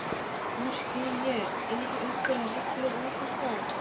Nú spyr ég- eru einhverjar reglur um þetta?